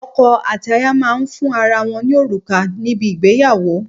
Ọkọ̀ àti aya máa ń fún ara wọn ní òrùka níbi ìgbéyàwó.